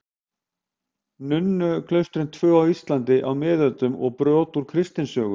Nunnuklaustrin tvö á Íslandi á miðöldum og brot úr kristnisögu.